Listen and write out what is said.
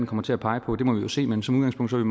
kommer til at pege på må vi se men som udgangspunkt er